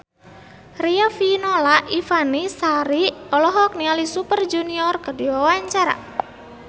Riafinola Ifani Sari olohok ningali Super Junior keur diwawancara